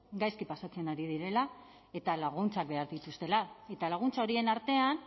gaizki pasatzen ari direla eta laguntzak behar dituztela eta laguntza horien artean